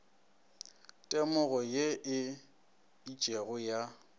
temogo ye e itšego ya